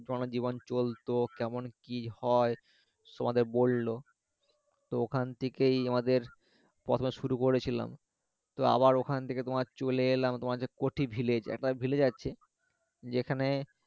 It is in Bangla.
জীবন চলতো কেমন কি হয় তোমাদের বললো তো ওখান থেকেই আমাদের পরপর শুরু করেছিলাম তো আবার ওখান থেকে তোমার চলে এলাম তোমার যে কঠি